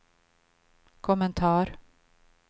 kommentar